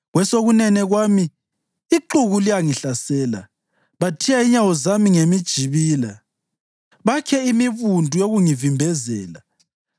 Kwesokunene kwami ixuku liyangihlasela; bathiya inyawo zami ngemijibila bakhe imibundu yokungivimbezela.